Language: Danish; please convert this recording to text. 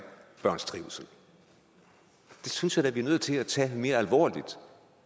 børns trivsel det synes jeg da vi er nødt til at tage mere alvorligt